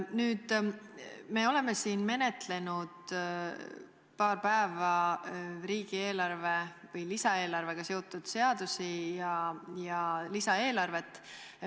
Nüüd, me oleme siin menetlenud paar päeva riigi lisaeelarvega seotud seadusi ja lisaeelarvet.